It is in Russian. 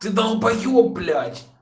ты долбаеб блять